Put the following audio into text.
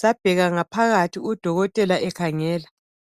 sabheka ngaphakathi udokotela ekhangela.